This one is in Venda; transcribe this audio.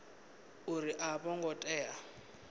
uri a vho ngo tea